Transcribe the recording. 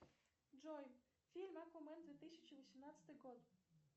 джой фильм аквамен две тысячи восемнадцатый год